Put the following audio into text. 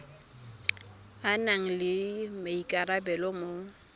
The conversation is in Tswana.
a nang le maikarabelo mo